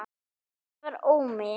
Þetta var Ómi.